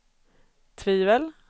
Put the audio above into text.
tvivel